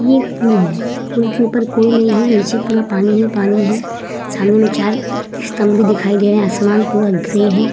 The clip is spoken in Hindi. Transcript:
ये एक पूल है। पूल के ऊपर कोई नहीं है। नीचे पूरा पानी ही पानी है। सामने में चार स्तम्भ बी दिखाई दे रहे हैं। आसमान पूरा ग्रे है।